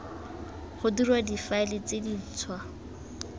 ga dirwa difaele tse dintshwa